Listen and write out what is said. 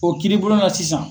O kiiribulon na sisan.